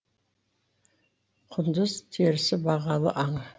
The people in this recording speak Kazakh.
құндыз терісі бағалы аң